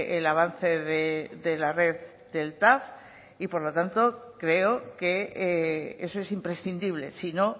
el avance de la red del tav y por lo tanto creo que eso es imprescindible si no